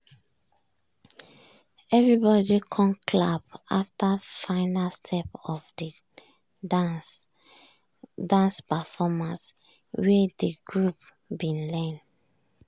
everybody com clap after final step of de dance performance wey dey group bin learn.